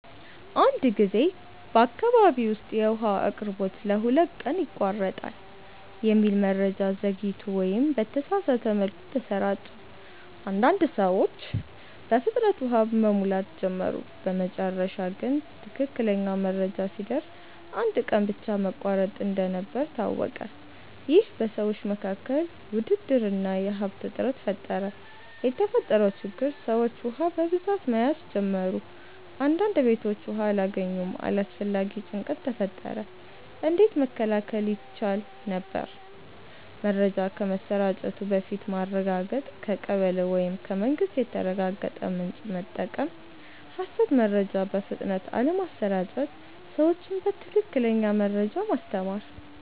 አንድ ጊዜ በአካባቢ ውስጥ “የውሃ አቅርቦት ለሁለት ቀን ይቋረጣል” የሚል መረጃ ዘግይቶ ወይም በተሳሳተ መልኩ ተሰራጨ። አንዳንድ ሰዎች በፍጥነት ውሃ መሙላት ጀመሩ በመጨረሻ ግን ትክክለኛው መረጃ ሲደርስ አንድ ቀን ብቻ መቋረጥ እንደነበር ታወቀ ይህ በሰዎች መካከል ውድድር እና የሀብት እጥረት ፈጠረ የተፈጠረው ችግር ሰዎች ውሃ በብዛት መያዝ ጀመሩ አንዳንድ ቤቶች ውሃ አላገኙም አላስፈላጊ ጭንቀት ተፈጠረ እንዴት መከላከል ይቻል ነበር? መረጃ ከመሰራጨቱ በፊት ማረጋገጥ ከቀበሌ ወይም ከመንግስት የተረጋገጠ ምንጭ መጠቀም ሐሰት መረጃ በፍጥነት አለመስራጨት ሰዎችን በትክክለኛ መረጃ ማስተማር